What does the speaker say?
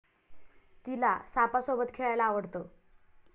ती'ला सापासोबत खेळायला आवडतं!